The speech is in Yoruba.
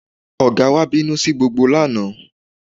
Ọ̀gá wa bínú sí gbogbo lánàá